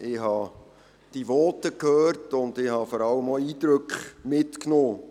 Ich habe die Voten gehört und vor allem auch Eindrücke mitgenommen.